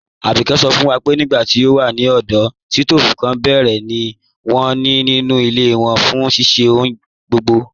Àbíké sọ̀ fún wa pé nígbà tí wọn wà ní ọdọ̀, sítoofú kan pẹ̀rẹ̀ ni wọn ní nínu ilẹ̀ wọn fún ṣíṣẹ̀ ọ̀hùn gbogbo.